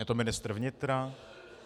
Je to ministr vnitra?